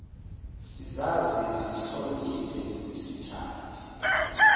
sizazi sizihloniphe sithande